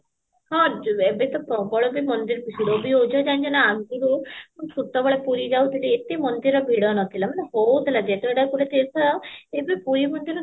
ହଁ ଯ ଏବେ ତ ପ୍ରବଳ ବି ମନ୍ଦିର ଭିଡ ବି ହଉଚି ଜାଣିଚ ନାଁ ମୁଁ ଛୋଟ ବେଳେ ପ୍ପୁରୀ ଯାଉଥିଲି ଏତେ ମନ୍ଦିର ଭିଡ ନଥିଲା ମାନେ ବହୁତ